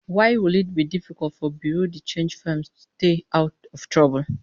Why will it be difficult for bureau de change firms to stay out of trouble?